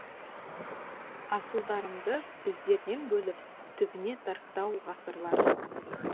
асылдарымды біздерден бөліп түбіне тартты ау ғасырлар